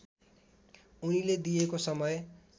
उनीले दिएको समय